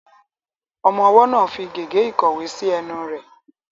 Ọmọ ọwọ́ náà ń fi gègé ìkọ̀wé sí ẹnu rẹ̀.